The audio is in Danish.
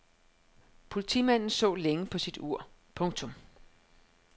Politimanden så længe på sit ur. punktum